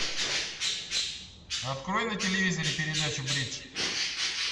открой на телевизоре передачу бридж